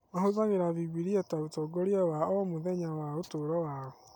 Mahũthagĩra Bibiria ta ũtongoria wa o mũthenya wa ũtũũro wao.